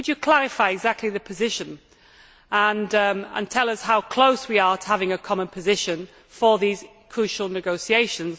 Could you clarify the exact position and tell us how close we are to having a common position for these crucial negotiations?